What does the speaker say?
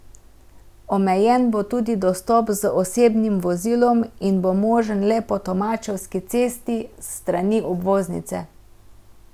Omejen bo tudi dostop z osebnim vozilom in bo možen le po Tomačevski cesti, s strani obvoznice.